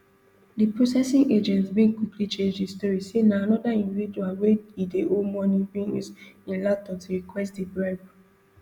di processing agent bin quickly change di story say na anoda individual wey e dey owe money bin use im laptop to request di bribe